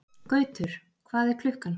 Gautur, hvað er klukkan?